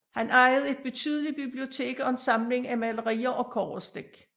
Han ejede et betydeligt bibliotek og en samling af malerier og kobberstik